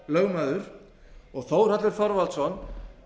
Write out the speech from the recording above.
hrl og þórhallur þorvaldsson